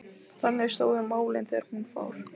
Þannig stóðu málin þegar hún fór.